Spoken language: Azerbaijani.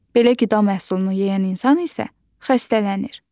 Belə qida məhsulunu yeyən insan isə xəstələnir.